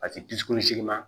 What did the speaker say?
A ti dusukolo sigi ma